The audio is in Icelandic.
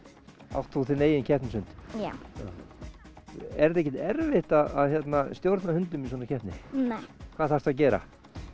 átt þú þinn eigin keppnishund já er ekkert erfitt að stjórna hundum í svona keppni nei hvað þarftu að gera